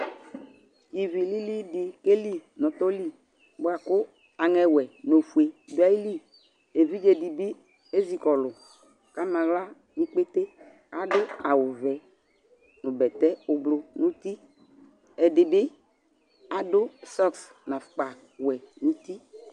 Ivi lili dɩ keli nʋ ɔtɔ li bʋa kʋ aŋɛwɛ nʋ ofue dʋ ayili Evidze dɩ bɩ ezi kɔlʋ kʋ ama aɣla nʋ ikpete Adʋ awʋvɛ nʋ bɛtɛ ʋblʋ nʋ uti Ɛdɩ bɩ adʋ sɔks nʋ afʋkpawɛ nʋ uti